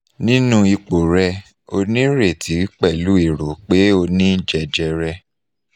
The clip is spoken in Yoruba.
ninu ipo re o ni ireti pelu ero pe oni jejere